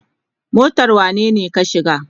Motar wanene ka shiga?